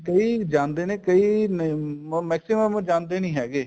ਕਈ ਜਾਂਦੇ ਨੇ ਕਈ maximum ਜਾਂਦੇ ਨੀ ਹੈਗੇ